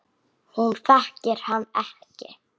Hún þekkir hann ekki.